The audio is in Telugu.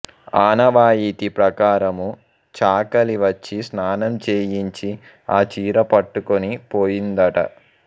ఆనవాయితి ప్రకారము చాకలి వచ్చి స్నానం చేయించి ఆ చీర పట్టుకొని పోయిందట